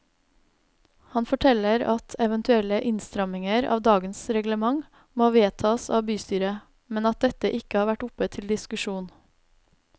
Han forteller at eventuelle innstramninger av dagens reglement må vedtas av bystyret, men at dette ikke har vært oppe til diskusjon.